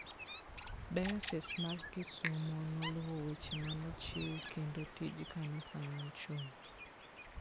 Diocese mar Kisumo noluwo weche ma ne ochiw kendo tij kanisa ne ochung'.